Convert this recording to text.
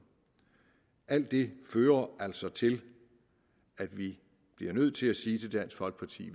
alt det fører altså til at vi bliver nødt til at sige til dansk folkeparti